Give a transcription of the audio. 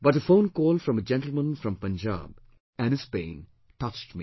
But a phone call from a gentleman from Punjab and his pain touched me